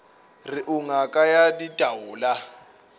re o ngaka ya ditaola